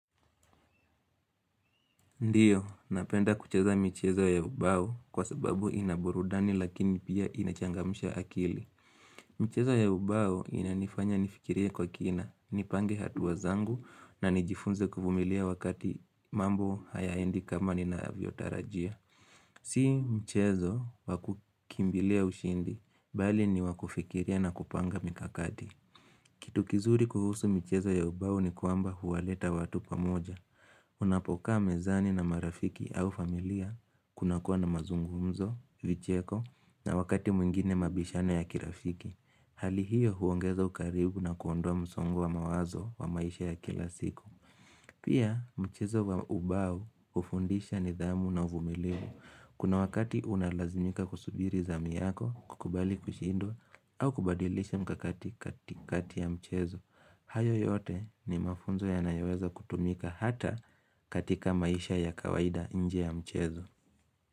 Ndio, napenda kucheza michezo ya ubao kwa sababu ina burudani lakini pia inachangamsha akili. Michezo ya ubao inanifanya nifikiria kwa kina, nipange hatua zangu na nijifunze kuvumilia wakati mambo hayaendi kama ninaavyo tarajia. Si michezo wakukimbilia ushindi, bali ni wakufikiria na kupanga mikakati. Kitu kizuri kuhusu michezo ya ubao ni kwamba huwaleta watu pamoja. Unapokaa mezani na marafiki au familia kuna kuwa na mazungumzo, vicheko na wakati mwingine mabishano ya kirafiki. Hali hiyo huongeza ukaribu na kuondoa msongo wa mawazo wa maisha ya kila siku. Pia mchezo wa ubao ufundisha nidhamu na uvumilivu. Kuna wakati unalazimika kusubiri zamu yako, kukubali kushindwa au kubadilisha mikakati katikati ya mchezo. Hayo yote ni mafunzo ya nayoweza kutumika hata katika maisha ya kawaida nje ya mchezo.